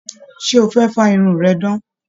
Ṣe o fẹ fa irun rẹ dan?